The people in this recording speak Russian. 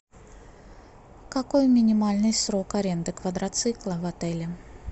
какой минимальный срок аренды квадроцикла в отеле